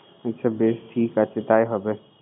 আচ্ছা বেশ ঠিক আছে তাই হবে।